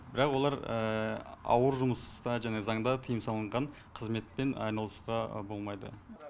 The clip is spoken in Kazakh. бірақ олар ауыр жұмыста жаңағы заңда тыйым салынған қызметпен айналысуға болмайды